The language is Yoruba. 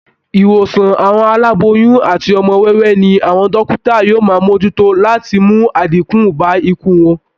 Ìwòsàn àwọn aláboyun àti ọmọ wẹ́wẹ́ ní àwọn dókítà yóò máa mojútó láti mú àdínkú bá ikú wọn